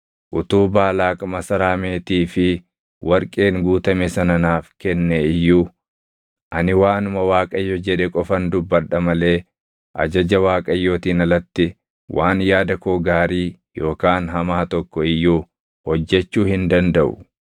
‘Utuu Baalaaq masaraa meetii fi warqeen guutame sana naaf kennee iyyuu, ani waanuma Waaqayyo jedhe qofan dubbadha malee ajaja Waaqayyootiin alatti waan yaada koo gaarii yookaan hamaa tokko iyyuu hojjechuu hin dandaʼu.’